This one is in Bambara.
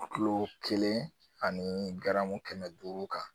Kilo kelen ani garamu kɛmɛ duuru kan